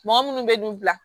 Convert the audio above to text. Mɔgɔ munnu bɛ du bila